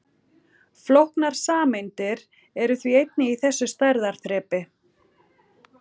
Flóknar sameindir eru því einnig í þessu stærðarþrepi.